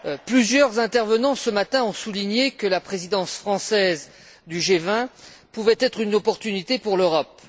Plusieurs intervenants ont souligné ce matin que la présidence française du G20 pouvait être une opportunité pour l'Europe.